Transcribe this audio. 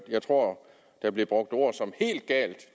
jeg tror der blev brugt ord som helt galt